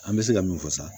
An bɛ se ka min fɔ sisan